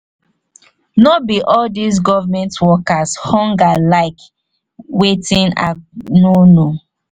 no be all these government workers hunger like wetin i no know.